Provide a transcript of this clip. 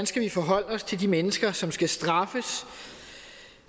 skal forholde os til de mennesker som skal straffes